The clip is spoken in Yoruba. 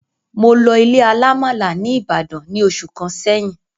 Mo lọ ilé alamala ní ìbàdàn ní oṣù kàn sẹyìn